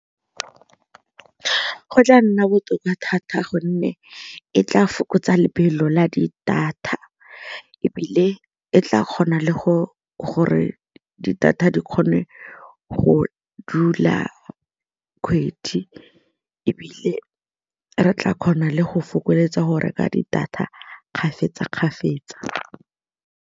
Go tla nna botoka thata gonne e tla fokotsa lebelo la di-data ebile e tla kgona le go gore di-data di kgone go dula kgwedi ebile re tla kgona le go fokoletsa go reka di-data kgafetsa-kgafetsa.